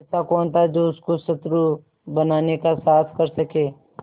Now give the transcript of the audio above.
ऐसा कौन था जो उसको शत्रु बनाने का साहस कर सके